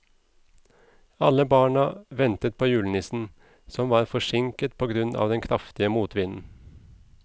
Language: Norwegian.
Alle barna ventet på julenissen, som var forsinket på grunn av den kraftige motvinden.